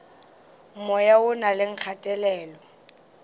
moya o na le kgatelelo